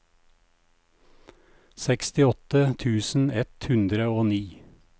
sekstiåtte tusen ett hundre og ni